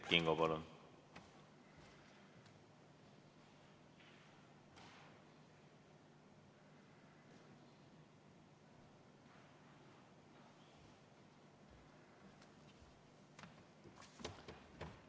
Kert Kingo, palun!